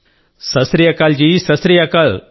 Sat Sri Akal ji Sat Sri Akal G